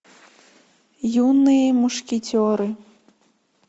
юные мушкетеры